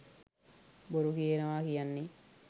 බොරු කියනවා කියන්නේ